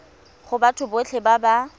go batho botlhe ba ba